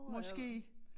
Måske